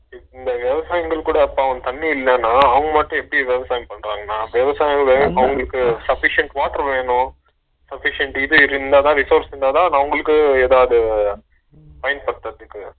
இந்த விவசாயிங்களுக்கு கூட பாவம் தண்ணி இல்லனா அவங்க மட்டும் எப்பிடி விவசாயம் பன்றாங்கனா, விவசாயம் அவங்களுக்கு sufficient water வேணு sufficient இது இருந்தாத resource இருந்தாத அவங்களுக்கு எதாவது பயன்படுத்துரதுக்கு